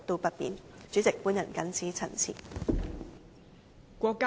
代理主席，我謹此陳辭。